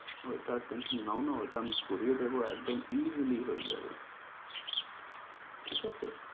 ওইটার tension নাও না। ওইটা আমি করিয়ে দেব, একদম essily হয়ে যাবে। ঠিক আছে?